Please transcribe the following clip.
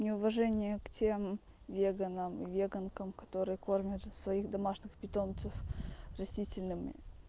неуважение к тем веганам и веганкам которые кормят же своих домашних питомцев растительным